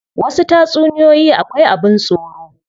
Wasu tatsuniyoyi akwai abin tsoro.